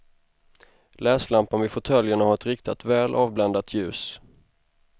Läslampan vid fåtöljerna har ett riktat väl avbländat ljus.